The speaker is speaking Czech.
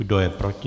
Kdo je proti?